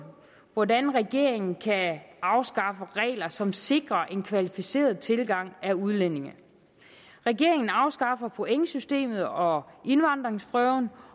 hvordan regeringen kan afskaffe nogle regler som sikrer en kvalificeret tilgang af udlændinge regeringen afskaffer pointsystemet og indvandringsprøven